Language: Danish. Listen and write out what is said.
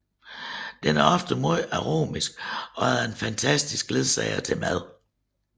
Den er ofte meget aromatisk og en fantastisk ledsager til mad